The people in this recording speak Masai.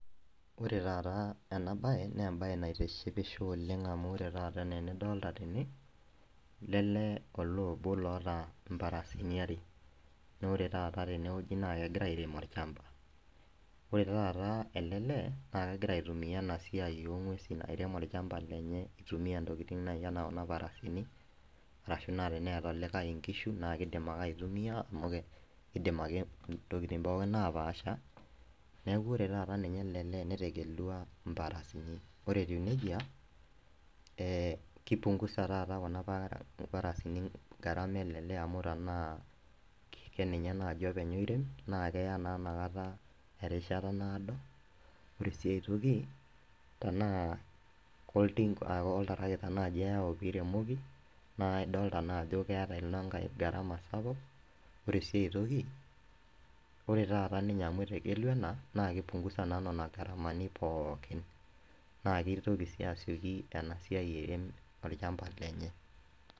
Ore taata ena baye naa embaye naitishipisho oleng' amu ore taata enaa enidolta tene lele olee obo loota imparasini are naa ore taata naa kegira airem orchamba ore taata ele lee naa kegira aitumia ena siai ong'uesin airem olchamba lenye itumia ntokiting naaji anaa kuna parasini arashu naa teneeta olikae inkishu naakidim ake aitumia amu kidim ake ntokiting' pooki napaasha neeku ore taata ninye ele lee netegelua imparasini ore etiu nejia eh kipungusa taata kuna parasini gharama ele lee amu tanaa kenenye naaji openy oirem naa keya naa inakata erishata naado ore sii ae toki tanaa koltinka koltarakita naaji eyau piremoki naa idolita naa ajo keeta inankae gharama sapuk ore sii aetoki ore taata ninye amu etegelua ena naa kipungusa naa nena gharamani pookin naa kitoki sii asioki ena siai airem orchamba lenye.